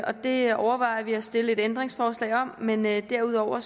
det overvejer vi at stille et ændringsforslag om men men derudover